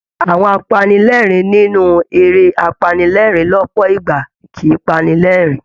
Àwọn apanilẹ́ẹ̀rín nínú eré apanilẹ́ẹ̀rín lọ́pọ̀ ìgbà kì í pani lẹ́rìn-ín